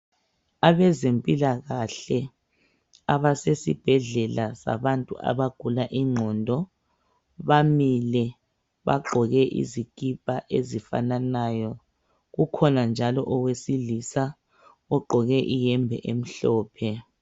Abezempilakahle abasesibhedlela sabantu abagula ingqondo bamile, bagqoke izikipa ezifananayo . Ukhona njalo owesilisa ogqoke iyembe emhlophe .